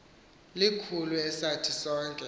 likhulu esathi sonke